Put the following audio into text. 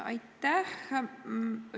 Aitäh!